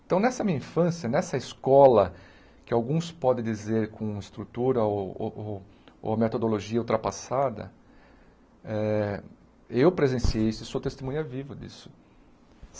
Então, nessa minha infância, nessa escola, que alguns podem dizer com estrutura ou ou ou ou metodologia ultrapassada, eh eu presenciei isso e sou testemunha vivo disso.